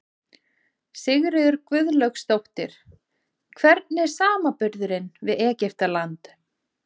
Sigríður Guðlaugsdóttir: Hvernig er samanburðurinn við Egyptaland?